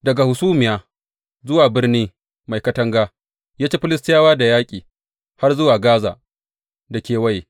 Daga hasumiya zuwa birni mai katanga, ya ci Filistiyawa da yaƙi, har zuwa Gaza da kewaye.